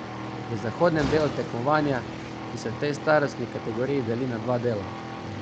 V zahodnem delu tekmovanja, ki se v tej starostni kategoriji deli na dva dela.